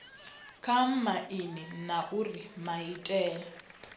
kha aini na uri maitele